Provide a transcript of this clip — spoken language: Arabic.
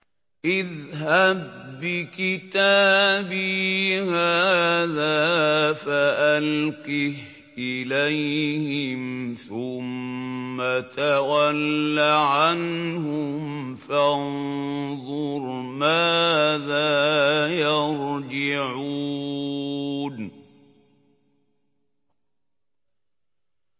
اذْهَب بِّكِتَابِي هَٰذَا فَأَلْقِهْ إِلَيْهِمْ ثُمَّ تَوَلَّ عَنْهُمْ فَانظُرْ مَاذَا يَرْجِعُونَ